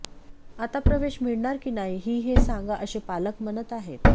आता प्रवेश मिळणार की नाही ही हे सांगा असे पालक म्हणत आहेत